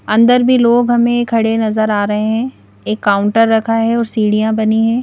अंदर भी लोग हमें खड़े नजर आ रहे हैं एक काउंटर रखा है और सीढ़ियां बनी है।